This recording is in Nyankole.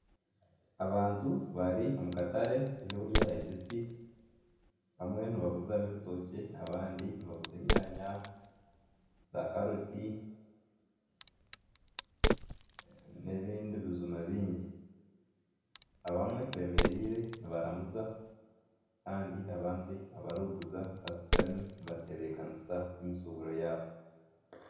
Abantu bari omu katare k'ebyokurya ebibisi. Bamwe nibaguza n'ebitookye bamwe nibaguza enyaanya zaakaroti n'ebindi bijuma bingi. Abandi bemereire nibaramuza. Kandi abandi barikuguza bashutami nibatebeekanisa emishuuburo yaabo.